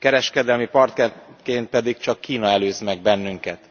Kereskedelmi partnerként pedig csak Kína előz meg bennünket.